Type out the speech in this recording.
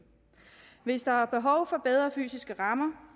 hvis der er behov for bedre fysiske rammer